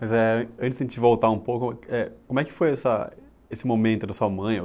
Mas eh, antes de a gente voltar um pouco, eh como é que foi essa esse momento da sua mãe?